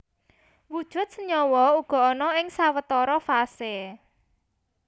Wujud senyawa uga ana ing sawetara fase